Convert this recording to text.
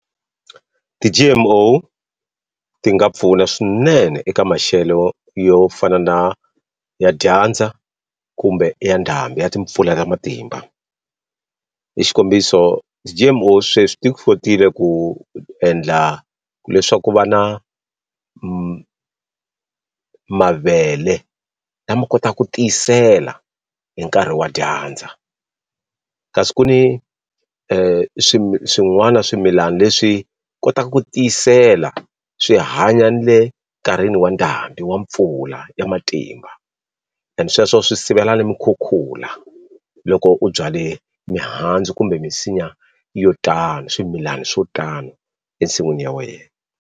Ti-G_M_O ti nga pfuna swinene eka maxelo wo yo fana na ya dyandza kumbe ya ndhambi ya timpfula ta matimba hi xikombiso ti-G-M-O sweswi ti kotile ku endla leswaku ku va na mavele lama kotaku tiyisela hi nkarhi wa dyandza kasi ku ni swin'wana swimilani leswi kotaku ku tiyisela swi hanya ni le nkarhini wa ndhambi wa mpfula ya matimba and sweswo swi sivela ni mi khukhula loko u byale mihandzu kumbe minsinya yo tani swimilani swo tani ensin'wini ya wena.